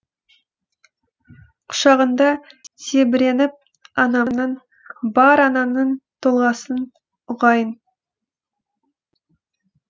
құшағыңда тебіреніп анамның бар ананың толғасын ұғайын